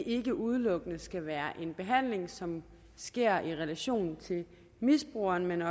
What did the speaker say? ikke udelukkende skal være en behandling som sker i relation til misbrugeren men